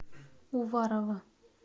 уварово